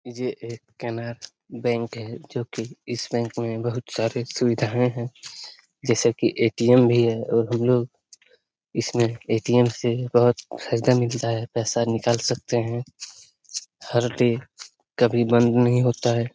ये एक केनरा बैंक है जो कि इस बैंक में बहुत सारी सुविधाएँ हैं जैसे की ए.टी.एम. भी है और हम लोग इसमें ए.टी.एम. से बहुत फायदा मिलता है पैसा निकाल सकते हैं हर डे कभी बंद नही होता है।